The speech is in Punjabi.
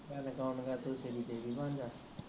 ਇਹਦੇ ਕਾਂਡ ਕਰਤੇ ਤੇਰੀ ਤੇਰੀ ਬੰਜਾ